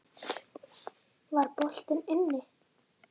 Var boltinn inni?